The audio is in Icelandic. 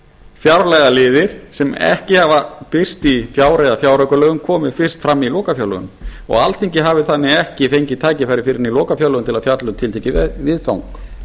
fjárlagaliðir sem ekki hafa birst í fjár eða fjáraukalögum komi fyrst fram í lokafjárlögum og alþingi hafi þannig ekki fengið tækifæri fyrr en í lokafjárlögum til að fjalla um tiltekið viðfang